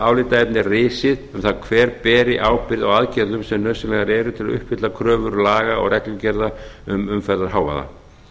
álitaefni risið um það hver beri ábyrgð á aðgerðum sem nauðsynlegar eru til að uppfylla kröfur laga og reglugerða um umferðarhávaða